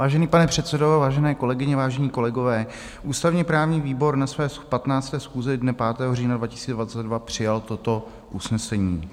Vážený pane předsedo, vážené kolegyně, vážení kolegové, ústavně-právní výbor na své 15. schůzi dne 5. října 2022 přijal toto usnesení: